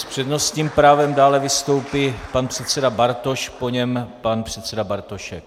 S přednostním právem dále vystoupí pan předseda Bartoš, po něm pan předseda Bartošek.